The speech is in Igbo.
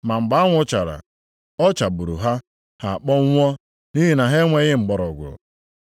Ma mgbe anwụ wara, ọ chagburu ha, ha kpọnwụọ nʼihi na ha enweghị mgbọrọgwụ.